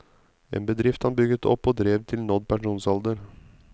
En bedrift han bygget opp og drev til nådd pensjonsalder.